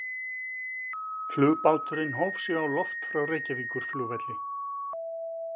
Flugbáturinn hóf sig á loft frá Reykjavíkurflugvelli.